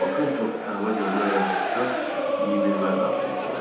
Pakın çox əla görmə və həssas iy bilmə qabiliyyəti vardı.